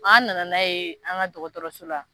An nana n'a ye an ka dɔgɔtɔrɔso la.